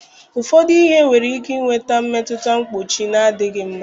Ụfọdụ ihe nwere ike inwe mmetụta mkpuchi na-adịghị mma